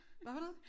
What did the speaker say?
Hvad for noget